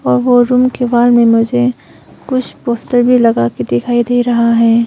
और वो रुम के बाहर में मुझे कुछ पोस्टर भी लगा में दिखाई दे रहा है।